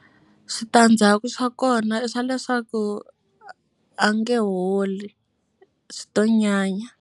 Switandzhaku swa kona i swa leswaku a nge holi swi to nyanya.